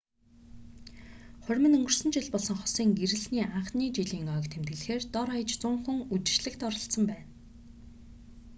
хурим нь өнгөрсөн жил болсон хосын гэрлэсний анхны жилийн ойг тэмдэглэхээр дор хаяж 100 хүн үдэшлэгт оролцсон байна